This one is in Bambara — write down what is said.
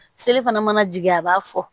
Seli fana mana jigin a b'a fɔ